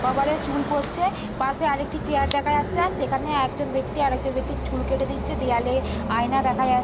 কবরে চুল পড়ছে পাশে আরেকটি চেয়ার দেখা যাচ্ছে সেখানে একজন ব্যক্তি আরেকজন ব্যক্তির চুল কেটে দিচ্ছে দেওয়ালে আয়না দেখা যা--